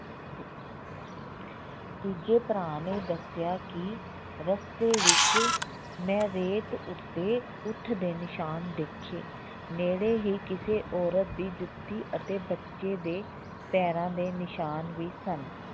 ਤੀਜੇ ਭਰਾ ਨੇ ਦੱਸਿਆ ਕਿ ਰਸਤੇ ਵਿੱਚ ਮੈਂ ਰੇਤ ਉੱਤੇ ਊਠ ਦੇ ਨਿਸ਼ਾਨ ਦੇਖੇ ਨੇੜੇ ਹੀ ਕਿਸੇ ਔਰਤ ਦੀ ਜੁੱਤੀ ਅਤੇ ਬੱਚੇ ਦੇ ਪੈਰਾਂ ਦੇ ਨਿਸ਼ਾਨ ਵੀ ਸਨ